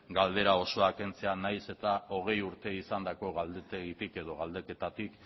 galdera osoa kentzea nahiz eta hogei urte izandako galdetegitik edo galdeketatik